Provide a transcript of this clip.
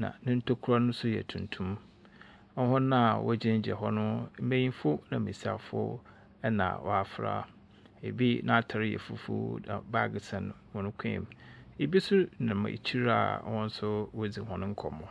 na ne ntokua no nso yɛ tuntum. Hɔn a wɔgyinagyina hɔ no, mbenyimfo na mbesiafo na wɔafra. Ebi n'atar yɛ fufuw, na bag sɛn hɔn kɔn mu. Ebi nso nam ekyir a hɔn nso woridzi hɔn nkɔmbɔ.